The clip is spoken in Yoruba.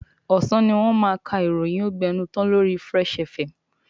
Ọ̀sán ni wọ́n máa ka ìròyìn ógbẹnután lori Fresh FM.